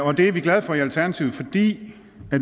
og det er vi glade for i alternativet fordi